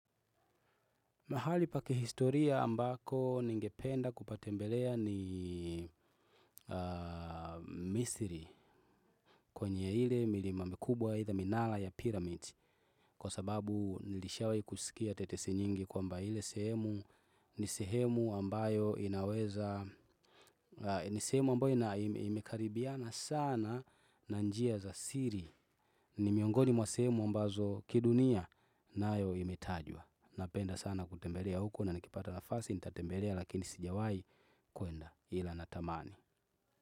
Mahali pa kihistoria ambako ningependa kupatembelea ni misri kwenye ile milima mikubwa itha minara ya pyramid kwa sababu nilishawai kusikia tetesi nyingi kwamba ile sehemu ni sehemu ambayo inaweza ni sehemu ambayo imekaribiana sana na njia za siri ni miongoni mwa sehemu ambazo kidunia nayo imetajwa. Napenda sana kutembelea huko na nikipata nafasi. Nitatembelea lakini sijawai kuenda ila natamani.